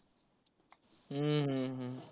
हम्म हम्म हम्म